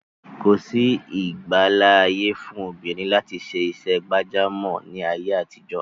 Kòsí ìgbàláàyè fún obìnrin láti ṣe iṣẹ́ gbàjámọ̀ ní ayé àtijọ́.